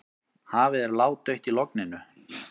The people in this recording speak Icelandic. Hafið er ládautt í logninu.